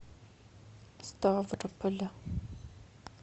ставрополя